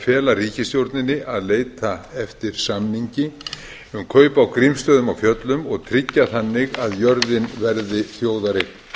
fela ríkisstjórninni að leita eftir samningi um kaup á grímsstöðum á fjöllum og tryggja þannig að jörðin verði þjóðareign